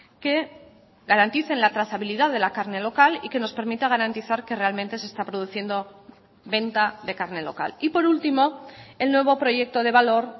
que garanticen la trazabilidad de la carne local y que nos permita garantizar que realmente se está produciendo venta de carne local y por último el nuevo proyecto de valor